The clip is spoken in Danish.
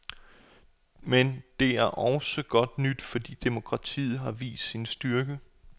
Men det er også godt nyt, fordi demokratiet har vist sin styrke.